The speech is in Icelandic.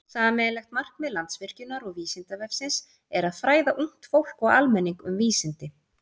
Sameiginlegt markmið Landsvirkjunar og Vísindavefsins er að fræða ungt fólk og almenning um vísindi.